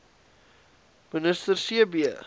minister c b